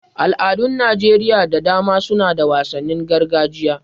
Al'adun Najeriya da dama suna da wasannin gargajiya.